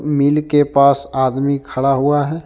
मिल के पास आदमी खड़ा हुआ है।